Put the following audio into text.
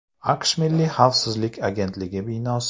AQSh milliy xavfsizlik agentligi binosi.